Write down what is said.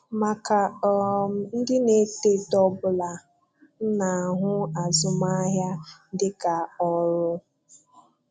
Maka um ndị na-eto eto ọbụla, m na-ahụ azụmaahịa dịka ọrụ.